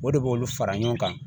O de b'olu fara ɲɔgɔn kan